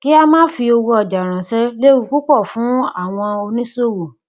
kí a máa fi owó ọjà ránṣẹ léwu púpọ fún àwọn oníṣòwò